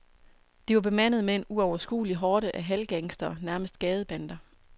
De var bemandet med en uoverskuelig horde af halvgangstere, nærmest gadebander.